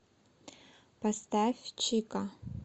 поставь чика